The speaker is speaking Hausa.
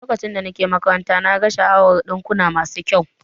Lokacin da nake makaranta, na gano sha'awar dinkuna masu kyau